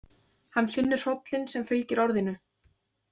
Hann finnur hrollinn sem fylgir orðinu.